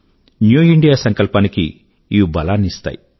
new India సంకల్పాని కి ఇవి బలాన్ని ఇస్తాయి